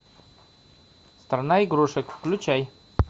страна игрушек включай